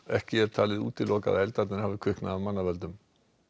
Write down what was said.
ekki er talið útilokað að eldarnir hafi kviknað af manna völdum